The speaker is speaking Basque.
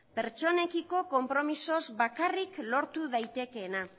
pertsonekiko konpromezuz bakarrik lortu daitekeena